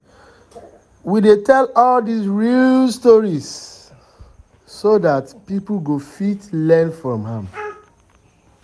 we dey tell all these real stories so dat um people go fit um learn from am